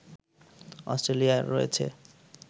অস্ট্রেলিয়ার রয়েছে